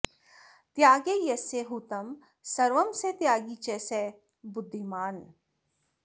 त्यागे यस्य हुतं सर्वं स त्यागी च स बुद्धिमान्